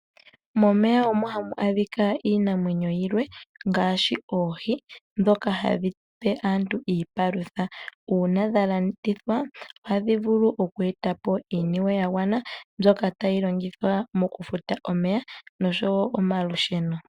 Momeya omo ha mu adhika iinamwenyo yilwe ngaashi oohi ndhoka hadhi pe aantu iipalutha uuna dha landithwa ohadhi vulu okweetapo iiniwe ya gwana mboka tayi longithwa mokufuta omeya noshowo omalusheno.